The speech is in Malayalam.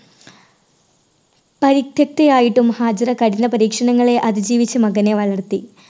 പരുക്കത്തി ആയിട്ടും ഹാജിറ കഠിന പരീക്ഷണങ്ങൾ അതിജീവിച്ച് മകനെ വളർത്തി.